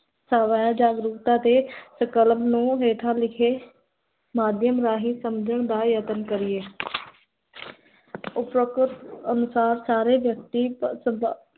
ਜਾਗਰੂਕਤਾ ਤੇ ਸੰਕਲਪ ਨੂੰ ਹੇਠਾਂ ਲਿਖੇ ਮਾਦੀਅਮ ਰਾਹੀਂ ਸਮਝਣ ਦਾ ਯਤਨ ਕਰੀਏ ਸਾਰੇ ਵਯਕਤੀ